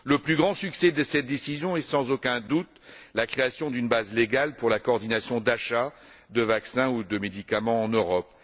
Le plus grand succès de cette décision réside, sans aucun doute, dans la création d'une base légale pour la coordination des achats de vaccins ou de médicaments en Europe.